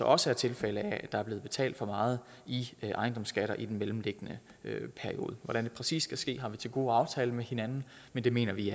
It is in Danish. også er tilfælde af at der er blevet betalt for meget i ejendomsskatter i den mellemliggende periode hvordan det præcis skal ske har vi til gode at aftale med hinanden men det mener vi